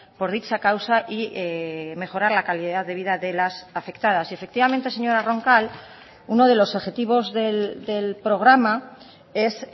por dicha causa y mejorar la calidad de vida de las afectadas y efectivamente señora roncal uno de los objetivos del programa es